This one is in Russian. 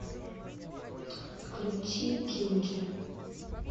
включи джинджер